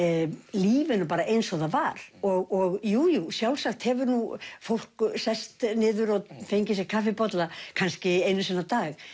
lífinu bara eins og það var og jú jú sjálfsagt hefur nú fólk sest niður og fengið sér kaffibolla kannski einu sinni á dag